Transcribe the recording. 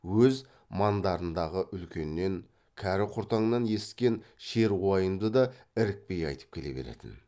өз маңдарындағы үлкеннен кәрі құртаңнан есікен шер уайымды да ірікпей айтып келе беретін